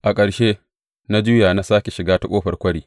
A ƙarshe, na juya na sāke shiga ta Ƙofar Kwari.